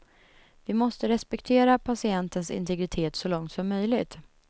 Vi måste respektera patientens integritet så långt som möjligt.